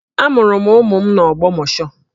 Amụrụ m ụmụ m n'Ogbomosho